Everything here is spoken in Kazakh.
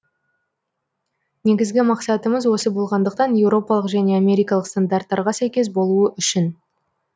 негізгі мақсатымыз осы болғандықтан еуропалық және америкалық стандарттарға сәйкес болуы үшін